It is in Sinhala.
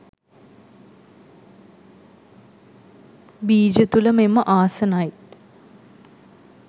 බීජ තුළ මෙම ආසනයිට්